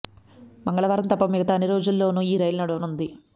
మంగళవారం తప్ప మిగతా అన్నీ రోజుల్లోనూ ఈ రైలు నడవనుంది